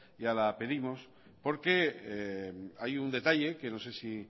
ya la pedimos porque hay un detalle que no sé si